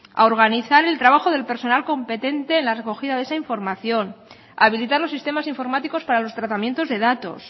a organizar el trabajo del personal competente en la recogida de esa información a habilitar los sistemas informáticos para los tratamientos de datos